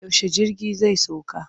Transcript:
Yaushe jirgi zai sauka?